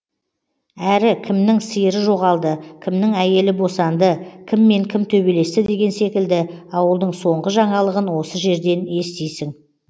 әрі кімнің сиыры жоғалды кімнің әйелі босанды кіммен кім төбелесті деген секілді ауылдың соңғы жаңалығын осы жерден естисің